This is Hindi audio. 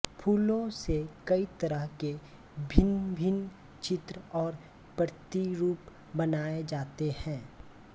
फुलों से कई तरह के भिन्नभिन्न चित्र और प्रतिरुप बनाये जाते है